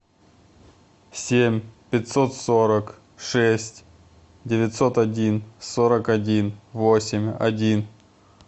семь пятьсот сорок шесть девятьсот один сорок один восемь один